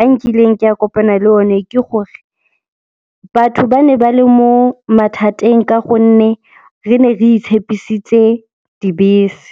a nkileng ke a kopana le o ne ke gore batho ba ne ba le mo mathateng ka gonne re ne re itshepisitse dibese.